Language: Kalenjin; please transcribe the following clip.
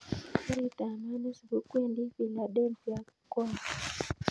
Karit ab maat nesubu kwendi philadelphia ko au